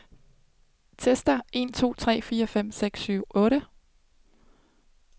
Tester en to tre fire fem seks syv otte.